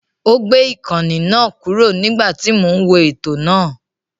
Ó gbé ìkànnì náà kúrò nígbà tí mò ń wo ètò náà.